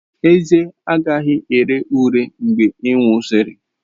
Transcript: Ezé agaghị ere ure mgbe ị nwụsịrị.